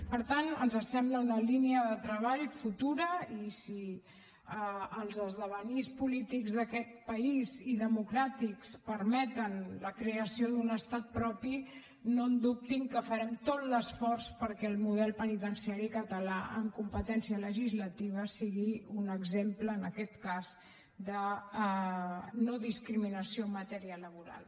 per tant ens sembla una línia de treball futura i si els esdevenirs polítics d’aquest país i democràtics permeten la creació d’un estat propi no dubtin que farem tot l’esforç perquè el model penitenciari català amb competència legislativa sigui un exemple en aquest cas de no discriminació en matèria laboral